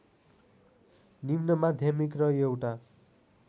निम्नमाध्यमिक र एउटा